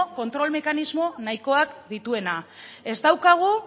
kontrol mekanismo nahikoak dituena ez daukagu